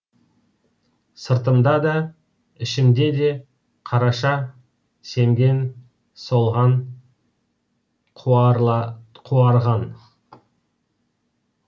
сыртымда да ішімде де қараша семген солған қуарған